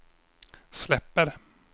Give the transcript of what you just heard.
släpper